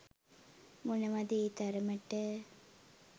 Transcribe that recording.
මොනවද ඒ තරමට